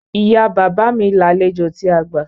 Ìya bàbá mi làlejò tí a gbà.